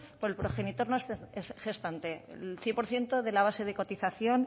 por el progenitor no gestante el cien por ciento de la base de cotización